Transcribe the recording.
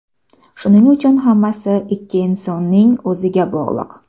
Shuning uchun hammasi ikki insonning o‘ziga bog‘liq.